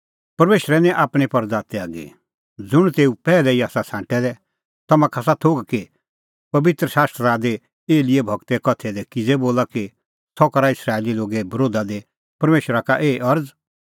परमेशरै निं आपणीं परज़ा त्यागी ज़ुंण तेऊ पैहलै ई आसा छ़ांटै दै तम्हां का आसा थोघ कि पबित्र शास्त्रा दी एलियाह गूरे कथैया दी किज़ै बोला कि सह करा इस्राएली लोगे बरोधा दी परमेशरा का एही अरज़